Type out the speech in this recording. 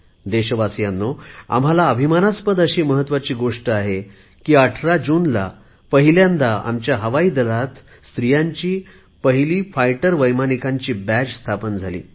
देशवासीयांनो आम्हाला अभिमानास्पद अशी महत्त्वाची गोष्ट आहे की 18 जूनला पहिल्यांदा आपल्या हवाईदलात महिलांची पहिली लढाऊ वैमानिकांची तुकडी सामील झाली